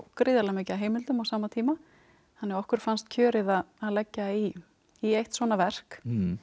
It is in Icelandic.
gríðarlega mikið af heimildum á sama tíma þannig að okkur fannst kjörið að leggja í í eitt svona verk